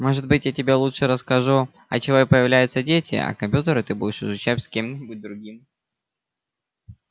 может быть я тебе лучше расскажу от чего появляются дети а компьютеры ты будешь изучать с кем-нибудь другим